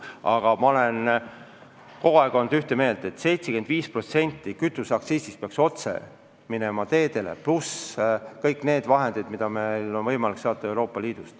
Aga ma olen kogu aeg olnud seda meelt, et 75% kütuseaktsiisist peaks otse minema teedele, pluss kõik need toetused, mida meil on võimalik saada Euroopa Liidust.